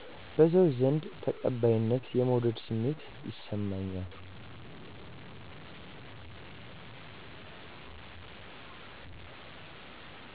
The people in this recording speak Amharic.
በሰዎች ዘንድ ተቀባይነት/የመወደድ ስሜት ይሰማኛል